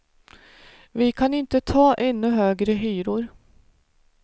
Vi kan inte ta ännu högre hyror.